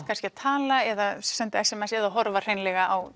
kannski að tala eða senda s m s eða horfa hreinlega á